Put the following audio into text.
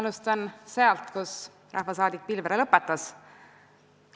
Alustan sealt, kus rahvasaadik Pilvre lõpetas.